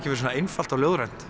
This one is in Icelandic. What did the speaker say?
verið svona einfalt og ljóðrænt